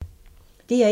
DR1